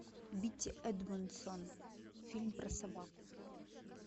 битти эдмондсон фильм про собаку